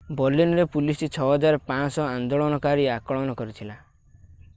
ବର୍ଲିନରେ police 6,500 ଆନ୍ଦୋଲୋନକାରୀ ଆକଳନ କରିଥିଲା